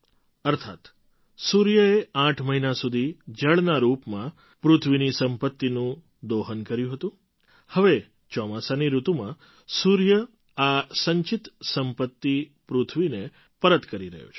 અર્થાત્ સૂર્યએ આઠ મહિના સુધી જળના રૂપમાં પૃથ્વીની સંપત્તિનું દોહન કર્યું હતું હવે ચોમાસાની ઋતુમાં સૂર્ય આ સંચિત સંપત્તિ પૃથ્વીને પરત કરી રહ્યો છે